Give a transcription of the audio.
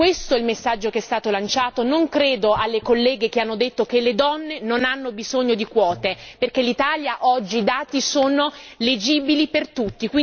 Questo è il messaggio che è stato lanciato e non credo alle colleghe che hanno affermato che le donne non hanno bisogno di quote, perché in Italia oggi i dati sono chiari per tutti.